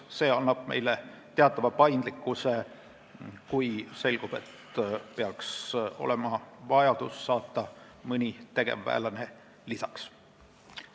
See annab meile teatava paindlikkuse, kui selgub, et tekib vajadus sinna mõni tegevväelane lisaks saata.